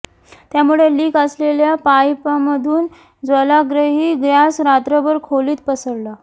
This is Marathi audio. त्यामुळे लिक असलेल्या पाइपमधून ज्वालाग्रही गॅस रात्रभर खोलीत पसरला